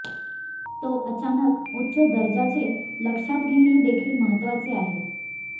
तो अचानक उच्च दर्जाचे लक्षात घेणे देखील महत्वाचे आहे